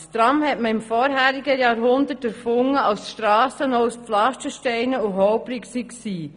Das Tram wurde im letzten Jahrhundert erfunden, als die Strassen noch aus Pflastersteinen bestanden und holprig waren.